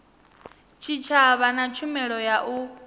tshitshavha na tshumelo ya u